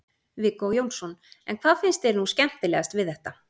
Viggó Jónsson: En hvað finnst þér nú skemmtilegast við þetta?